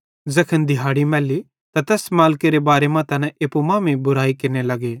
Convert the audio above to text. ज़ैखन दिहाड़ी मैल्ली त तैस मालिकेरे बारे मां तैना एप्पू मांमेइं बुराई केरने लग्गे